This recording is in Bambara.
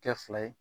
Kɛ fila ye